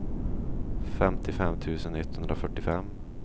femtiofem tusen etthundrafyrtiofem